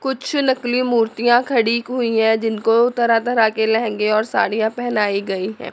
कुछ नकली मूर्तियां खड़ी हुई हैं जिनको तरह तरह के लहंगे और साड़िया पहनाई गई है।